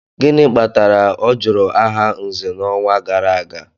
Gịnị kpatara ọ jụrụ aha Nze n'ọnwa gara aga?